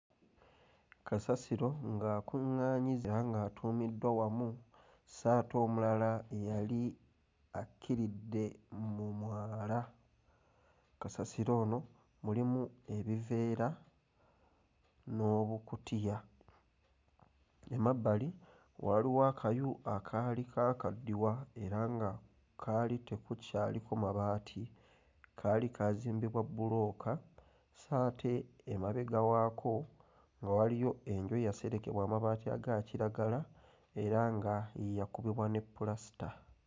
Kasasiro ng'akuŋŋaanyiziddwa era ng'atuumiddwa wamu so ate omulala yali akkiridde mu mwala. Kasasiro ono mulimu ebiveera n'obukutiya. Emabbali waaliwo akayu akaali kaakaddiwa era nga kaali tekukyaliko mabaati. Kaali kaazimbibwa bbulooka so ate emabega waako nga waliyo enju eyaserekebwa amabaati aga kiragala era nga yakubibwa ne pulasita.